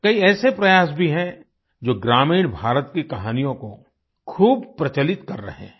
कई ऐसे प्रयास भी हैं जो ग्रामीण भारत की कहानियों को खूब प्रचलित कर रहे हैं